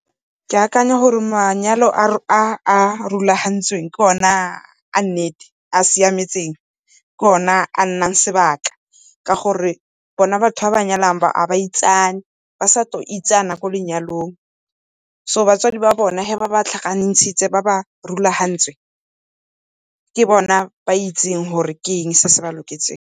Ke akanya gore manyalo a a rulagantsweng ke ona a nnete a siametseng, ke ona a nnang sebaka ka gore, bona batho ba ba nyalanang ba ga baitsane, ba sa tlo itsane ko lenyalong. So batswadi ba bona ga ba tlhakantshitse ba ba rulagantse ke bone ba ba itseng gore ke eng se se ba loketseng.